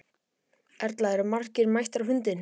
Erla, eru margir mættir á fundinn?